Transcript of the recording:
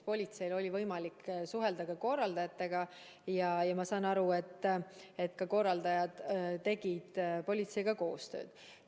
Politseil oli võimalik suhelda korraldajatega ja ma olen aru saanud, et korraldajad tegid politseiga koostööd.